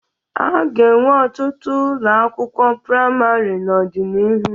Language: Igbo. A ga-enwe ọtụtụ ụlọ akịwụkwọ praịmarị n'ọdịnihu.